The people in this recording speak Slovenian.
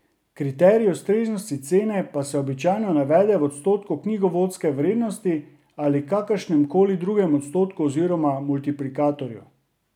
Kriterij ustreznosti cene pa se običajno navede v odstotku knjigovodske vrednosti ali kakršnemkoli drugem odstotku oziroma multiplikatorju.